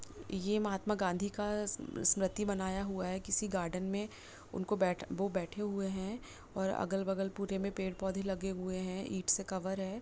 ये महात्मा गांधी का स्मृति बनाया हुआ है किसी गार्डन में उनको बैठ वो बैठे हुए है और अगल-बगल पूरे में पेड़-पौधे लगे हुए हैं ईंट से कवर है।